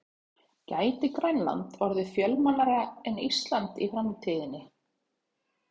Gæti Grænland orðið fjölmennara en Ísland í framtíðinni?